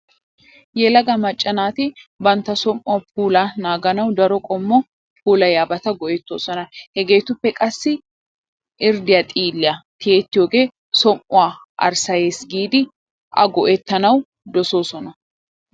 Yelaga macca naati bantta som"uwaa puulaa naaganawu daro qommo puulayiyaabata go"ettoosona. Heegeetuppe qassi irddiyaa xiilliyaa tiyettiyoogee som"uwaa arssayees giidi A go"ettanawu dosoosona.